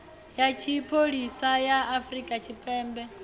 ya tshipholisa ya afrika tshipembe